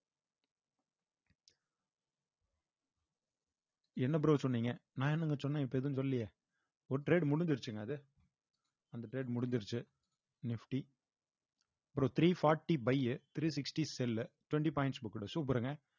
என்ன bro சொன்னீங்க நான் என்னங்க சொன்னேன் இப்ப எதுவும் சொல்லையே ஒரு trade முடிஞ்சிருச்சுங்க அது அந்த trade முடிஞ்சிருச்சு nifty அப்புறம் three forty by three sixty cell twenty points booked super ங்க